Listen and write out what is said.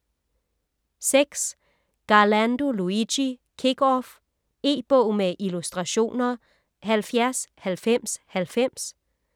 Garlando, Luigi: Kick off E-bog med illustrationer 709090